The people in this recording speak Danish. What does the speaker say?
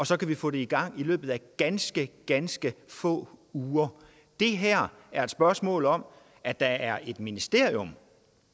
så kan vi få det i gang i løbet af ganske ganske få uger det her er et spørgsmål om at der er et ministerium